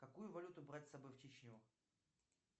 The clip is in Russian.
какую валюту брать с собой в чечню